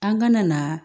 An kana na